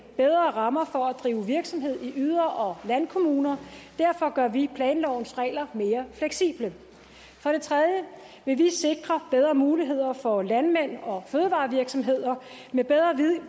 bedre rammer for at drive virksomhed i yder og landkommuner derfor gør vi planlovens regler mere fleksible for det tredje vil vi sikre bedre muligheder for landmænd og fødevarevirksomheder med bedre